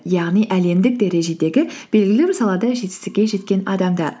яғни әлемдік дәрежедегі белгілі бір салада жетістікке жеткен адамдар